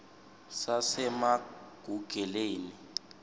sasemagugeleni